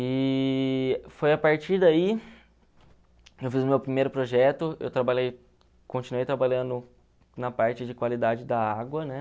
E foi a partir daí, eu fiz o meu primeiro projeto, eu trabalhei, continuei trabalhando na parte de qualidade da água, né?